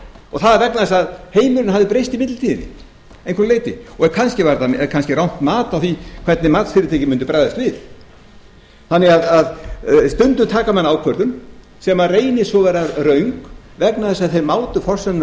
og það var vegna þess að heimurinn hafði breyst í millitíðinni að einhverju leyti kannski var þetta rangt mat á því hvernig matsfyrirtækin mundu bregðast við stundum taka menn því ákvörðun sem reynist svo vera röng vegna þess að þeir mátu forsendurnar